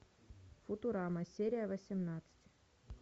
футурама серия восемнадцать